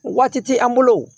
Waati ti an bolo wo